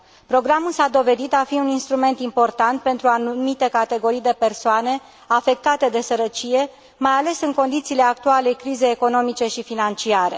Programul s a dovedit a fi un instrument important pentru anumite categorii de persoane afectate de sărăcie, mai ales în condițiile actualei crizei economice și financiare.